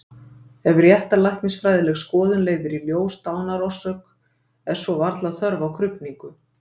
Ef réttarlæknisfræðileg skoðun leiðir í ljós dánarorsök er svo varla þörf á krufningu.